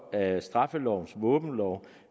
af straffelovens våbenlov